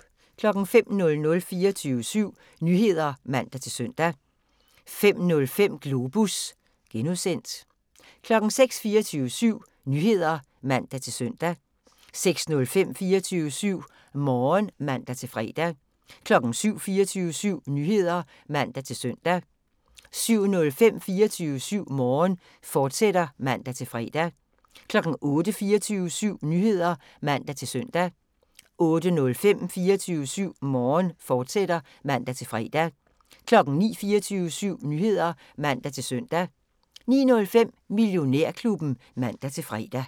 05:00: 24syv Nyheder (man-søn) 05:05: Globus (G) 06:00: 24syv Nyheder (man-søn) 06:05: 24syv Morgen (man-fre) 07:00: 24syv Nyheder (man-søn) 07:05: 24syv Morgen, fortsat (man-fre) 08:00: 24syv Nyheder (man-søn) 08:05: 24syv Morgen, fortsat (man-fre) 09:00: 24syv Nyheder (man-søn) 09:05: Millionærklubben (man-fre)